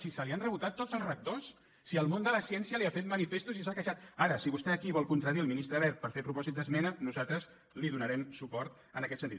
si se li han rebotat tots els rectors si el món de la ciència li ha fet manifestos i s’ha queixat ara si vostè aquí vol contradir el ministre wert per fer propòsit d’esmena nosaltres li donarem suport en aquest sentit